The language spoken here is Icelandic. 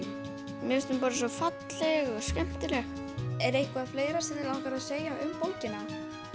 þín mér finnst hún bara svo falleg og skemmtileg er eitthvað fleira sem þig langar að segja um bókina